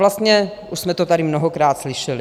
Vlastně už jsme to tady mnohokrát slyšeli.